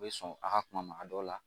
U bɛ sɔn a ka kuma ma a dɔw la